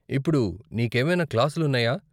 ఇప్పుడు నీకేమైనా క్లాసులు ఉన్నాయా?